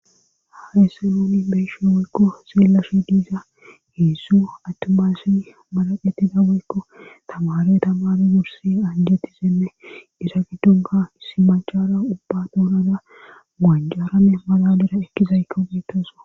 Haye se looni beshin woykko seelashi diiza heesso attumasin malaqetida woykko tamare tamami wursi anjeti senne isa giddonga issi machara ubba doorada muanjarame maladira ekkizaykka peetosa.